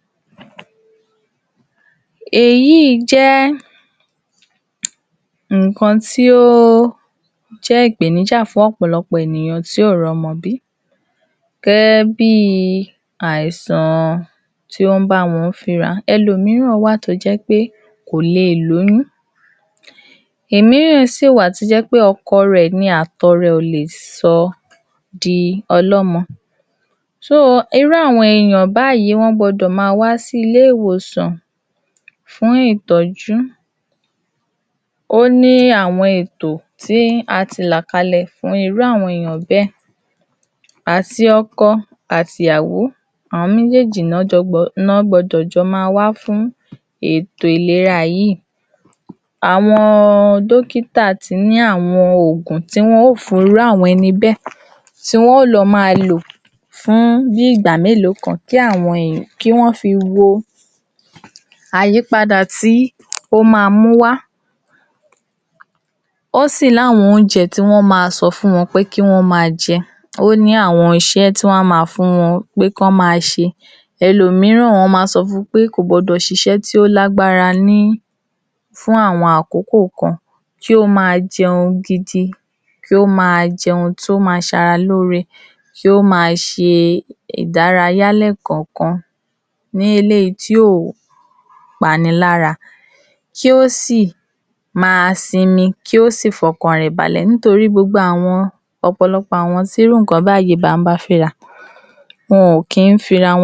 Nǹkan tí ó dára ni kí á máa rin ní agbègbè wa, ara àwo̩n eré-ìdárayá tí ó wúlò tí ó sì s̩e pàtàkì ni. Èyí ni ó jé̩ wí pé a gbo̩dò̩ ma s̩e é lóòrèkóòrè fún ìgbéayé ìrò̩rùn. Kí a má máa jòkó sí ojúkan, ka máa rìn jáde lé̩kò̩ò̩kan, ìwo̩ tí ó bá jé̩ wí pé is̩é̩ ìjo̩ba tí ò gbà é̩ láyè púpò̩ tí o bá ti lo̩ ibi-is̩é̩, tó jé̩ pé gbogbo ìgbà inú amúnútutù té̩è̩é̩ jókòó tí wà á s̩is̩é̩ láti àárò̩ títí dalé̩ tàbí ilé-is̩é̩ aládàáni lo ti ń s̩is̩é̩ tó jé̩ pé láti àárò̩ títí dìrò̩lé̩, ojú kan náà ni wà á jókòó sí, kò dáa fún ètò ara. Ó le rò wí pé ìgbádùn ni. ,E̩lòmíràn á tiè̩ tún s̩eé dé bi wí pé, tó bá máa délé, á ti l’áwo̩n tí ó tún gbaa báágì rè̩ ló̩wó̩ rè̩ láti e̩nu ò̩nà. Kò ju kó rìn láti e̩nu Kò ju kó rìn láti e̩nu mó̩tò wo̩ inú yàrá lo̩ láti lo̩ sùn tàbí lá ti jeun kí ó sì lo̩ sùn. Àwo̩n ìwà wò̩nyìí kò lè jé̩ ǹkan tí ó máa mú kí ara wa ó jí pépé. Ó jé̩ ǹkan ti ó máa dín o̩jó̩ orí wa kù. Fún ìdí èyí, a gbo̩dò̩ gbìyànjú bí ó tiè̩ s̩e è̩è̩méjì .ló̩sè̩, ká máa rìn kákààkiri Ká s̩e eré ìdárayá lo̩ sí àwo̩n agbègbè tó bá sún mó̩ wa nípa rínrín. Èyí ma s̩e ìlera tó péyé fún àgó ara wa. Gbogbo àwo̩n è̩yà ara tó ti fe̩ máa kú táìtai, á lè máa jí pépé padà. Ká sì máa mu omi ta bá ń lo̩, kì ń s̩e pé ká kàn máa rìn nínú òùngbe̩. Eléyìí ò bójú mu. Ká máa mú omi dání nítori wípé gbogbo re̩ ni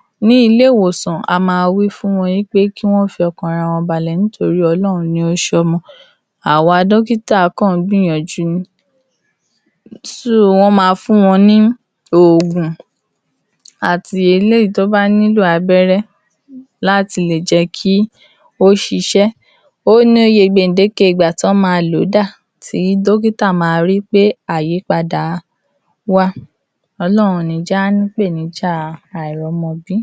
ó máa je̩ kí àwo̩n àgó̩ ara wa tí ó jí pépé. So, a gbo̩dò̩ make, a gbo̩dò̩ rí pé a ò s̩e àwo̩n ǹkan tí kò ye̩ ká s̩e bóyá bí àwo̩n tí ó ń lo̩ ibi-is̩é̩ tí wo̩n ò kìí rìn, È̩kò̩ò̩kan, e̩ má jé̩ kó jé̩ gbogbo ìgbà la á máa jòkó sínú ilé àbí la á máa jòkó níbi is̩é̩. Tá à bá ráyè àti s̩e ìrìn o̩ló̩jo̩ méjì ní àárín o̩sè̩, láàrín ibi-is̩é̩ wa náà, eléyìí tá a kàn fi jòkó sójú kan láti àárò títí di ìrò̩lé̩ E̩ jé̩ ká rìn kiri agbègbè, ká rìn kiri agbègbè láti lè jé̩ kí gbogbo ẹ̀jè̩ tó ti dì sápá kan kí ó tún kákàkiri àgó̩ ara wa kí ara wa leè jí pépé. Àjíǹde ni ara ó máa jé̩ o.